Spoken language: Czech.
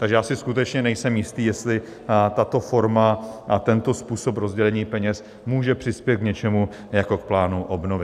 Takže já si skutečně nejsem jistý, jestli tato forma a tento způsob rozdělení peněz může přispět k něčemu jako k plánu obnovy.